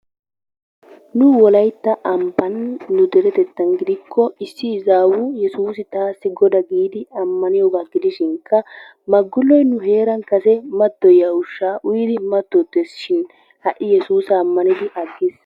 Ni wolaytta ambban nu deretettan gidikko issi izawu Yessuus taassi Goda giidi ammaniyooga gidishinkka Magguloy nu heeran kase mattoyiya ushsha uyyidi matottesishin ha'i Yessuusa ammaniddi agiis.